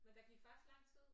Men der gik faktisk lang tid